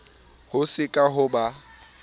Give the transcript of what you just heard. ho se ke ha ba